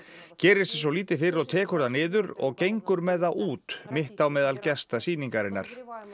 gerir sér svo lítið fyrir og tekur það niður og gengur með það út mitt á meðal gesta sýningarinnar